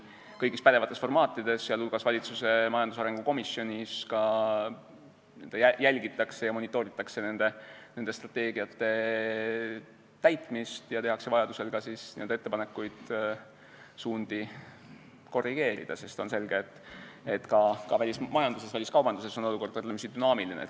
Kõigis pädevates formaatides, sh valitsuse majandusarengu komisjonis, jälgitakse ja monitooritakse nende strateegiate täitmist ning tehakse vajaduse korral ettepanekuid suundi korrigeerida, sest on selge, et ka välismajanduses ja väliskaubanduses on olukord võrdlemisi dünaamiline.